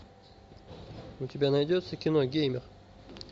у тебя найдется кино геймер